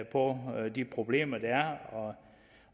og de problemer der er